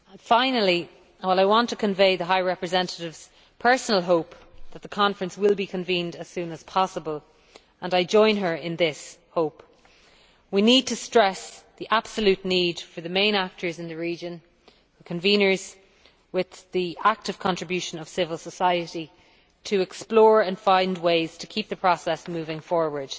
Finally, I want to convey the High Representative's personal hope that the conference will be convened as soon as possible, and I join her in this hope. We need to stress the absolute need for the main actors in the region, conveners with the active contribution of civil society, to explore and find ways to keep the process moving forward.